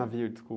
Navio, desculpa.